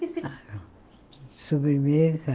Que se De sobremesa?